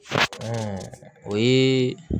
o ye